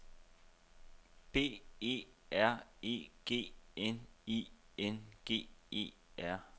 B E R E G N I N G E R